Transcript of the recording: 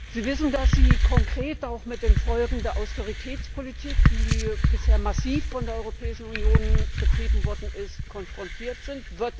Sie wissen, dass Sie konkret auch mit den Folgen der Austeritätspolitik, die bisher massiv von der Europäischen Union betrieben worden ist, konfrontiert sind.